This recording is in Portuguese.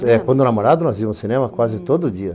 Quando eu era namorado, nós íamos ao cinema quase todo dia.